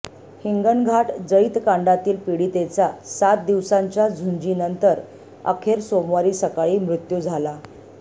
हिंगणघाट जळीतकांडातील पीडितेचा सात दिवसाच्या झुंजीनंतर अखेर सोमवारी सकाळी मृत्यू झाला